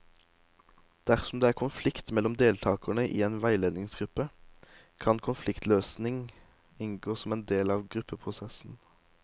Dersom det er konflikt mellom deltakere i en veiledningsgruppe, kan konfliktløsning inngå som en del av gruppeprosessen.